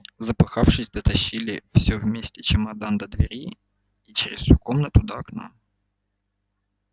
запыхавшись дотащили всё вместе чемодан до двери и через всю комнату до окна